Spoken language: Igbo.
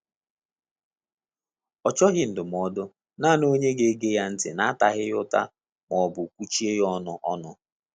Ọ chọghị ndụmọdụ, nanị onye ga ege ya ntị na ataghi ya uta ma ọbụ kwuchie ya ọnụ ọnụ